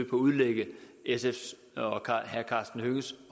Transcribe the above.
udlægge sfs og herre karsten hønges